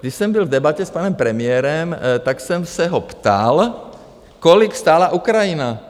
Když jsem byl v debatě s panem premiérem, tak jsem se ho ptal, kolik stála Ukrajina.